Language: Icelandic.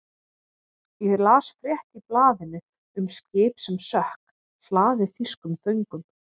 Ég las frétt í blaðinu um skip sem sökk, hlaðið þýskum föngum.